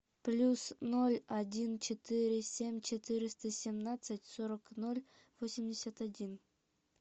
плюс ноль один четыре семь четыреста семнадцать сорок ноль восемьдесят один